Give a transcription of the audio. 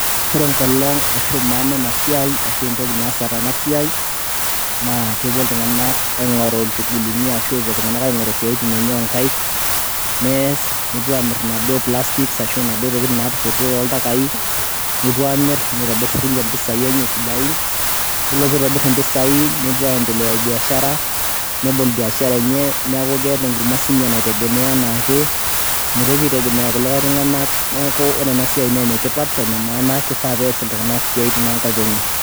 ore enkolong ashu maana ena siai ashu entoki naasa tenasiai naa kepuo iltung'anak aing'oru inchugulini ashu epuo iltung'anak aing'oru isiaitin enye onkaik nees nepuo amirr inaduo plastics ashu inaduo tokitin natosotuo toltakai nepuo amirr nitobirr sininche mpisai enye sidain yiolo pitobirr impisai nepuo aiendelea biashara nebol biashara enye niaku keeta enkurma sinye naitegemea enaake mitoki aitegemea irkulikae tung'anak neeku ore ena siai na enetipat ene maana kifaa pees iltung'anak isiaitin onkaik enye.